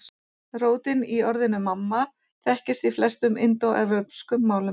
Rótin í orðinu mamma þekkist í flestum indóevrópskum málum.